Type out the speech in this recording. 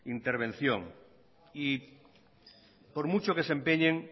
intervención y por mucho que se empeñen